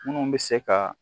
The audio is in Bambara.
Minnu bɛ se ka